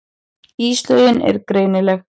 Íslögin eru greinileg.